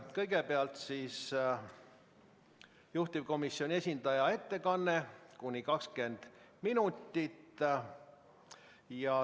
Kõigepealt on juhtivkomisjoni esindaja ettekanne, kuni 20 minutit.